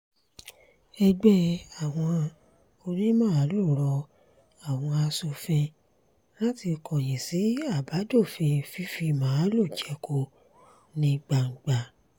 ẹgbẹ́ àwọn onímaalùú rọ àwọn aṣòfin láti kọ̀yìn sí àbádòfin fífi màálùú jẹko ní gbangba